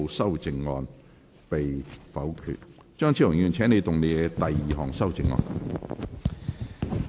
張超雄議員，請動議你的第二項修正案。